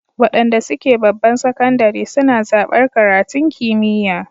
Waɗanda suke babban sakandire suna zaɓar karatun kimiyya